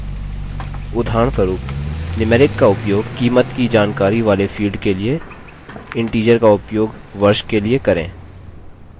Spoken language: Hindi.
उदाहरणस्वरूप numeric का उपयोग कीमत की जानकारी वाले field के लिए integer का उपयोग वर्ष के लिए करें